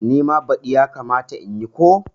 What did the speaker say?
Nima badi yakamata in yi ko?